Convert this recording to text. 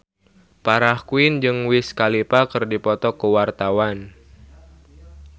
Farah Quinn jeung Wiz Khalifa keur dipoto ku wartawan